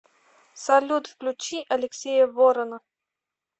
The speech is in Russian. салют включи алексея ворона